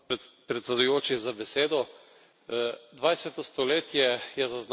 Dvajseto stoletje je zaznamovala cela vrsta totalitarnih sistemov.